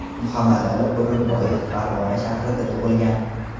Muhammadali O‘rinboyev Farg‘ona shahrida tug‘ilgan.